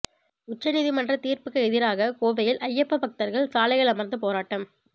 உச்சநீதிமன்ற தீர்ப்பிற்கு எதிராக கோவையில் ஐயப்ப பக்தர்கள் சாலையில் அமர்ந்து போராட்டம்